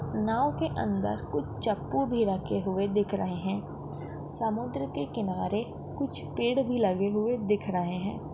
नाव के अंदर कुछ चप्पू भी रखे हुए दिख रहे हैं। समुद्र के किनारे कुछ पेड़ भी लगे हुए दिख रहे हैं।